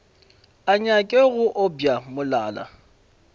a nyake go obja molala